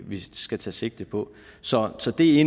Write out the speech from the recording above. vi skal tage sigte på så så det er